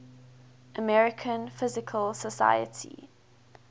american physical society